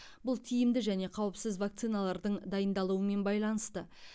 бұл тиімді және қауіпсіз вакциналардың дайындалуымен байланысты